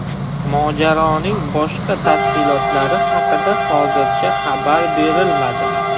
Mojaroning boshqa tafsilotlari haqida hozircha xabar berilmadi.